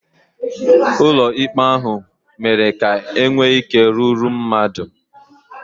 Ụlọ ikpe ahụ mere ka e nwee ike rúrú mmadụ